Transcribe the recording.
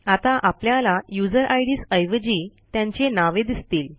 आता आपल्याला user IDs ऐवजी त्यांची नावे दिसतील